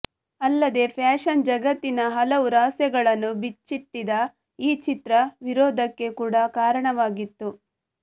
ಅಲ್ಲದೇ ಫ್ಯಾಶನ್ ಜಗತ್ತಿನ ಹಲವು ರಹಸ್ಯಗಳನ್ನು ಬಿಚ್ಚಿಟ್ಟಿದ್ದ ಈ ಚಿತ್ರ ವಿರೋಧಕ್ಕೆ ಕೂಡ ಕಾರಣವಾಗಿತ್ತು